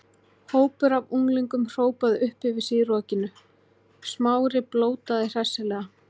Hópur af unglingum hrópaði upp yfir sig í rokinu, Smári blótaði hressilega.